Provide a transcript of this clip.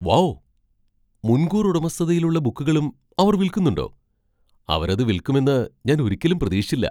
Wow! മുൻകൂർ ഉടമസ്ഥതയിലുള്ള ബുക്കുകളും അവർ വിൽക്കുന്നുണ്ടോ? അവരത് വിൽക്കുമെന്ന് ഞാൻ ഒരിക്കലും പ്രതീക്ഷിച്ചില്ല.